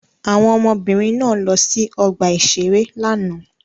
Àwọn ọmọbìnrin náà lọ sí ọgbà-ìṣeré lánàá.